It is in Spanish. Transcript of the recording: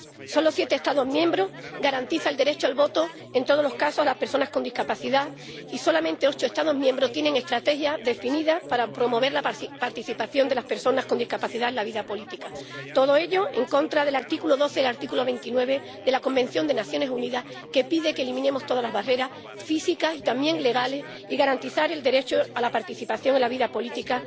Solo siete Estados miembros garantizan el derecho al voto en todos los casos a las personas con discapacidad y solamente ocho Estados miembros tienen estrategias definidas para promover la participación de las personas con discapacidad en la vida política. Todo ello en contra del artículo 12 y el artículo 29 de la Convención de las Naciones Unidas, que pide que eliminemos todas las barreras físicas y también legales y que se garantice el derecho de estas personas a participar en la vida pública.